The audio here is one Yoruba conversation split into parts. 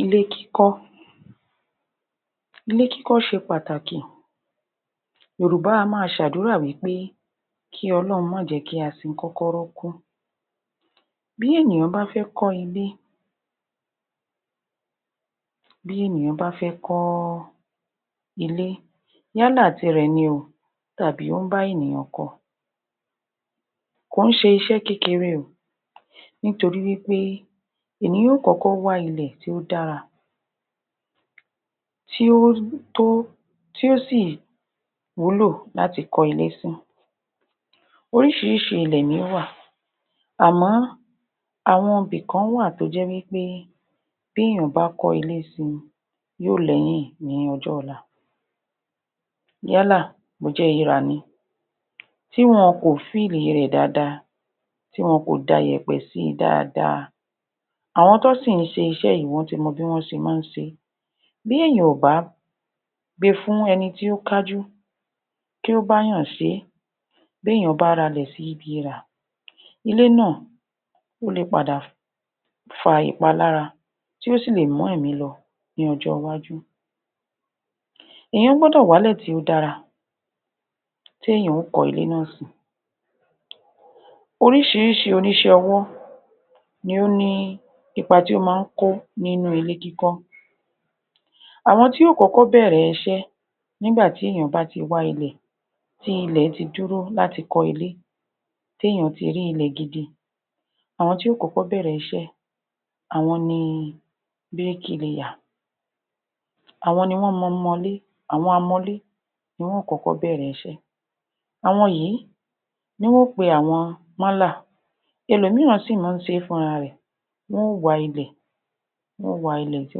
Ilé kíkọ́ ilé kíkọ́ ṣe pàtàkì Yorùbá á máa ṣe àdúrà wí pé kí ọlọ́run máa jẹ́ kí a sin kọ́kọ́rọ́ kú. Bí ènìyàn bá fẹ́ kọ́ ilé, Bí ènìyàn bá fẹ́ kọ́ ilé, yálà tirẹ̀ ni ò tàbí wọ́n bá ènìyàn kọ kò ń ṣe iṣẹ́ kékeré o, nítorí wí pé ènìyàn yóo kọ́kọ́ wá ilẹ̀ tí ó dára tí ó tó, tí ó sì wúlò láti fi kọ́ ilé sí orísìíríṣìí ilẹ̀ ni ó wà àmọ́, àwọn ibì kán wà tó jẹ́ wí pé bí èèyàn bá kọ́ ilé si yóo lẹ́yìn ní ọjọ́ ọ̀la. yálà bó jẹ́ irà ni, tí wọn kò fíìlì rẹ̀ dáadáa tí wọn kò da iyẹ̀pẹ̀ sí i dáadáa, àwọn tó ń sì ṣiṣẹ́ yìí, wọ́n ti mọ bí wọ́n se máa ń ṣe bí èèyàn ò bá gbe fún ẹni tí ó kájú kí ó bá yàn se é, b'éyàn bá ra ilẹ̀ sí ibi irà, ilé náà ó lè padà fa ìpálára tí ó sì lè mú ẹ̀mí lọ ní ọjọ́ iwájú. èèyàn gbọ́dọ̀ w'álẹ̀ tí ó dára tí èèyàn ó kọ́ ilé náà sí oríṣìíríṣìí oníṣẹ́-ọwọ́ ni ó ní ipa tí ó máa ń kó nínú ilé kíkọ́ àwọn tí ó kọ́kọ́ bẹ̀ẹ̀rẹ̀ iṣẹ́ nígbà tí èèyàn bá ti wá ilẹ̀, tí ilẹ̀ ti dúró láti kọ́ ilé tí èèyàn ti rí ilẹ̀ gidi, àwọn tí yóo kọ́kọ́ bẹ̀ẹ̀rè iṣẹ́ àwọn ni (bricklayer) bíríkí leyà àwọn ni wọ́n máa ń mọlé, àwọn amọlé ni wọ́n ó kọ́kọ́ bẹ̀ẹ̀rẹ̀ iṣẹ́, Àwọn yìí, ni yóo pe àwọn mọ́là ẹlòmíìràn sí máa ń ṣe fúnra rẹ̀ wọ́n ó wa ilẹ̀ wọ́n ó wa ilẹ̀ tí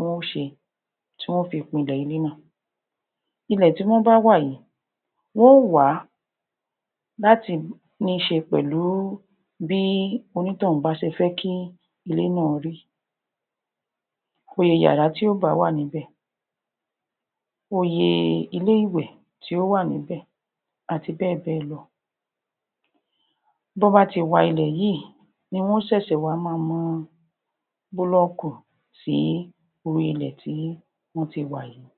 wọ́n ó ṣe, tí wọ́n ó fi pinlẹ̀ ilé náà ilè tí wọ́n bá wa yìí, wọ́n ó wà á láti níṣe pẹ̀lú, bí onítọ̀hún bá ṣe fẹ́ kí ilé náà rí, iye iyàrá tí yóo bá wà níbẹ̀, iye ilé-ìwẹ̀ tí yóo wà níbẹ̀, àti bẹ́ẹ̀ bẹ́ẹ̀ lọ. Tó bá ti wa ilẹ̀ yìí, ni wọn ó ṣẹ̀ṣẹ̀ wá máa mọ búlọ́kù sí orí ilẹ̀ tí wọ́n ti wà yìí.